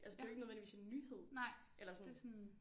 Altså det er jo ikke nødvendigvis en nyhed eller sådan